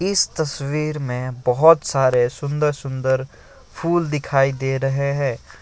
इस तस्वीर में बहुत सारे सुंदर सुंदर फूल दिखाई दे रहे हैं।